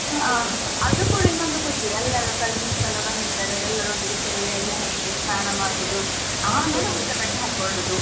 ಅದು ಕೂಡ ಇನ್ನೊಂದು ಖುಷಿ ಎಲ್ಲರು cousins ಎಲ್ಲಾ ಬಂದಿರ್ತಾರೆ ಎಲ್ಲರೊಟ್ಟಿಗೆ ಸೇರಿ ಎಣ್ಣೆ ಹಚ್ಚುದು ಸ್ನಾನ ಮಾಡುದು ಆಮೇಲೆ ಹೊಸ ಬಟ್ಟೆ ಹಾಕೊಳ್ಳುದು.